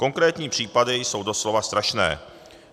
Konkrétní případy jsou doslova strašné.